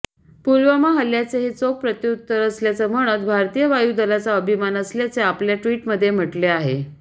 पुलवामा हल्ल्याचे हे चोख प्रत्युत्तर असल्याच म्हणत भारतीय वायूदलाचा अभिमान असल्याचे आपल्या ट्विटमध्ये म्हटले आहे